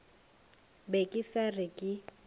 be ke sa re ke